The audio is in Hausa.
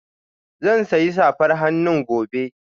Zan sayi safar hannu gobe